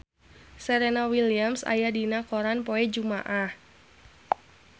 Serena Williams aya dina koran poe Jumaah